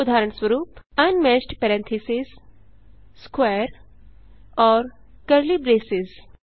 उदाहरणस्वरूप unmatched parentheses square और curly braces